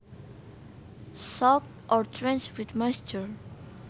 Soaked or drenched with moisture